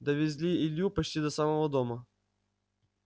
довезли илью почти до самого дома